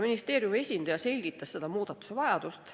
Ministeeriumi esindaja selgitas selle muudatuse vajadust.